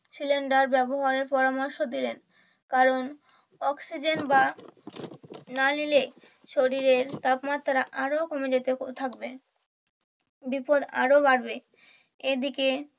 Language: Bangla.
সিলিন্ডার ব্যবহারের পরামর্শ দিলেন কারণ অক্সিজেন বা না নিলে শরীরের তাপমাত্রা আরো কমে যেতে থাকবে বিপদ আরো বাড়বে এইদিকে